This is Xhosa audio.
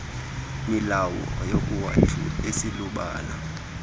milowo yakowethu iselubala